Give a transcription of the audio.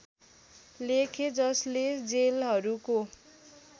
लेखे जसले जेलहरूको